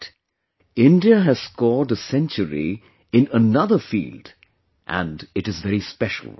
But, India has scored a century in another field and it is very special